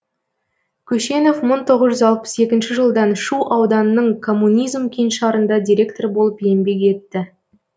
көшенов мың тоғыз жүз алпыс екінші жылдан шу ауданының коммунизм кеңшарында директор болып еңбек етті